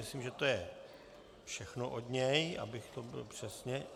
Myslím, že to je všechno od něho, abych to řekl přesně.